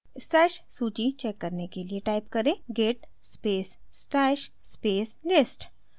stash सूची check करने के लिए type करें: git space stash space list